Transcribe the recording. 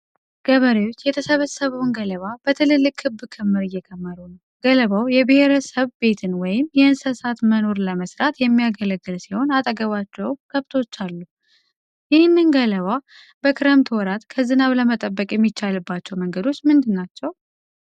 ገበሬዎች የተሰበሰበውን ገለባ በትልልቅ ክብ ክምር እየከመሩ ነው። ገለባው የብሔረሰብ ቤትን ወይም የእንስሳት መኖን ለመስራት የሚያገለግል ሲሆን አጠገባቸውም ከብቶች አሉ። ይህንን ገለባ በክረምት ወራት ከዝናብ ለመጠበቅ የሚቻልባቸው መንገዶች ምንድን ናቸው?